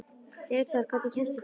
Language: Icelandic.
Sigþóra, hvernig kemst ég þangað?